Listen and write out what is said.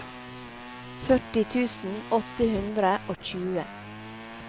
førti tusen åtte hundre og tjue